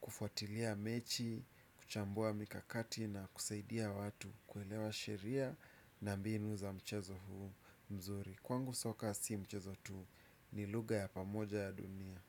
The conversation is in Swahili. kufuatilia mechi kuchambua mikakati na kusaidia watu kuelewa sheria na mbinu za mchezo huo mzuri. Kwangu soka si mchezo tu. Nilugha ya pamoja ya dunia.